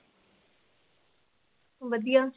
ਵਧੀਆ